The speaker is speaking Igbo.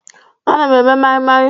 Ana m eme mai-mai.